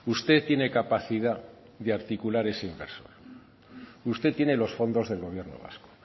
usted tiene capacidad de articular ese inversor usted tiene los fondos del gobierno vasco